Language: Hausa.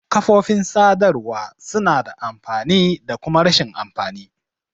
Kafofin sadarwa suna da amfani da kuma rashin amfani.